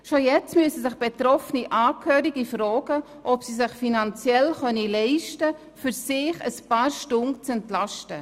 Schon jetzt müssen sich betroffene Angehörige fragen, ob sie es sich finanziell leisten können, sich ein paar Stunden zu entlasten.